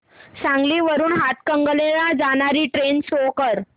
सांगली वरून हातकणंगले ला जाणारी ट्रेन शो कर